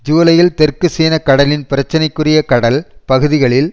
ஜூலையில் தெற்கு சீன கடலின் பிரச்சனைக்குரிய கடல் பகுதிகளில்